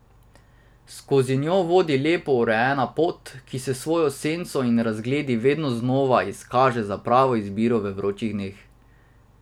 Skozi njo vodi lepo urejena pot, ki se s svojo senco in razgledi vedno znova izkaže za pravo izbiro v vročih dneh.